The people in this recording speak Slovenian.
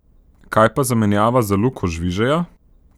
Kaj pa zamenjava za Luko Žvižeja?